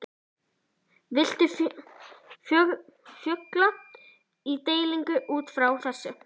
Viltu fjölga í deildinni útfrá þessu?